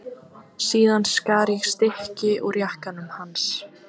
Síðan skar ég stykki úr jakkanum hans.